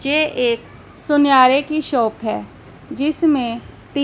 जे एक सुनयारे की शॉप है जिसमें ती--